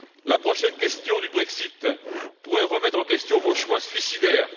La prochaine question du Brexit pourrait remettre en question vos choix suicidaires.